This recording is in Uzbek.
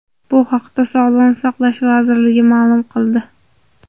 Bu haqda Sog‘liqni saqlash vazirligi ma’lum qildi .